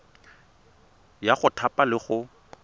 ya go thapa le go